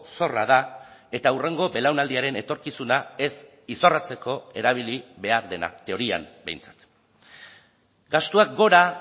zorra da eta hurrengo belaunaldiaren etorkizuna ez izorratzeko erabili behar dena teorian behintzat gastuak gora